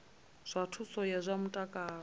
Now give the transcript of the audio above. zwa thuso ya zwa mutakalo